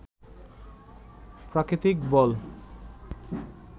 প্রাকৃতিক বল